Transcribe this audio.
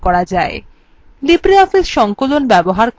libreoffice সংকলন ব্যবহার করতে